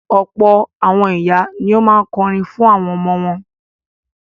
Ọ̀pọ̀ àwọn ìyá ni ó máa ń kọrin fún àwọn ọmọ wọn